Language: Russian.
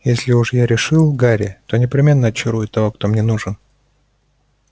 если уж я решил гарри то непременно очарую того кто мне нужен